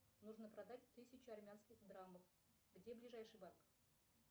нужно продать тысячу армянских драмов где ближайший банк